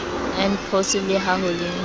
npos le ha ho le